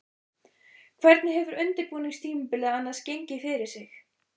Hvernig hefur undirbúningstímabilið annars gengið fyrir sig?